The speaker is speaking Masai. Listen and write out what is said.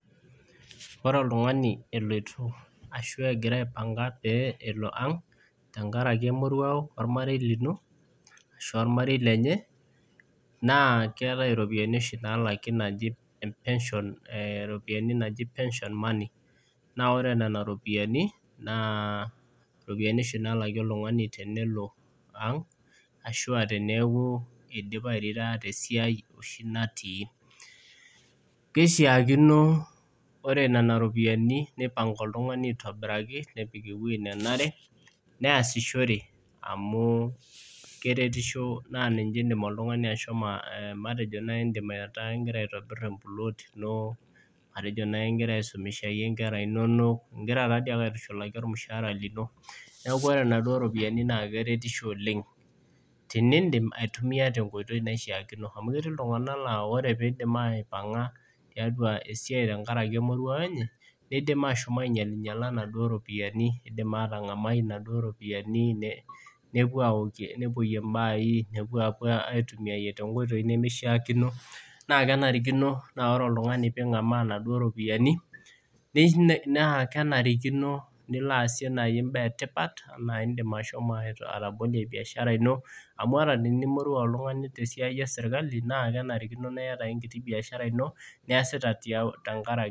Ore oltungani eloito ashu egira aipanga pee elo ang tenkaraki emorwao ormarei lino ashu ormarei lenye naa keetae oshi ropiyiani naalaki naaji pension money naa ore nena ropiyiani oshi naalaki oltungani tenelo ang ashu teneeku eidim airitaya tesiai oshi natii ,keishiakino ore nena ropiyiani neipanga oltungani aitobiraki nepik eweji nenare neesishore amu na niche naaji indim oltungani aitumiyia naaji matejo ingira aitobir empuloot ino matejo ingira aisumisha inkera inonok ingira taadei ake aitushulaki ormushaara lino ,neeku ore naduo ropiyiani naa keretisho oleng tenidim duo aitumiyia tenkoitoi naishaakino, amu ketii iltungabnk laa ore pee eidip aipaa tesiai tenkaraki emorwao enye neidim ashom ainyalinyala naduo ropiyiani ,eidim atangamu naduo ropiyiani nepuyie mbaai, nepuo aitumiyia toonkoitoi nemishaakino .naa kenarikino naa ore oltungani pee ingamaa naduo ropiyiani, naa kenarikino nilo naaji aasie mbaa etipat ,naa indim naaji ashomo atabolie biashara ino amu ata tinimorua oltungani otii esiai esirkali naa kenarikino ake niata enkiti siai niyasita.